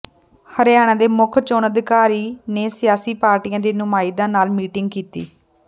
ਹਰਿਆਣਾ ਦੇ ਮੁੱਖ ਚੋਣ ਅਧਿਕਾਰੀ ਨੇ ਸਿਆਸੀ ਪਾਰਟੀਆਂ ਦੇ ਨੁਮਾਇੰਦਿਆਂ ਨਾਲ ਮੀਟਿੰਗ ਕੀਤੀ